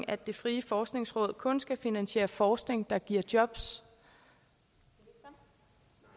at det frie forskningsråd kun skal finansiere forskning der giver jobs det